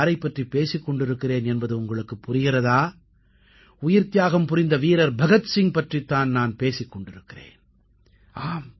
நான் யாரைப் பற்றிப் பேசிக் கொண்டிருக்கிறேன் என்பது உங்களுக்குப் புரிகிறதா உயிர்த்தியாகம் புரிந்த வீரர் பகத்சிங் பற்றித் தான் நான் பேசிக் கொண்டிருக்கிறேன்